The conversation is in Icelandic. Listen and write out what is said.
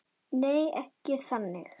Nei, ekkert þannig